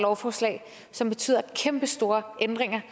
lovforslag som betyder kæmpestore ændringer